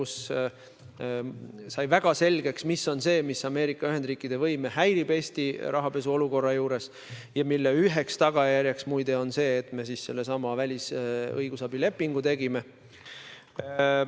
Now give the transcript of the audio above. Seal sai väga selgeks, mis on see, mis Ameerika Ühendriikide võime Eesti rahapesuolukorra juures häirib, mille üheks tagajärjeks on muide see, et me sellesama välisõigusabi lepingu tegime.